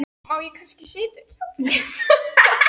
Má ég kannski sitja í hjá þér þangað upp eftir?